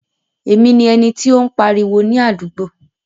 Èmi ni ẹni tí o n pariwo ni àdúgbò.